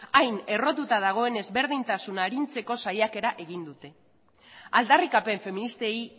hain errotuta dagoen ezberdintasuna arintzeko saiakera egin dute aldarrikapen feministei